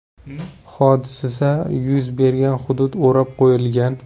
Hodisa yuz bergan hudud o‘rab qo‘yilgan.